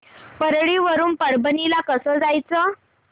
परळी वरून परभणी ला कसं जायचं